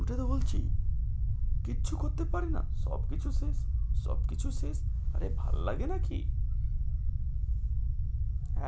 ওটাই তো বলছি কিচ্ছু করতে পারি না সব কিছু শেষ সব কিছু শেষ আরে ভাল্লাগে নাকি?